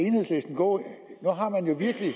gå nu har man jo virkelig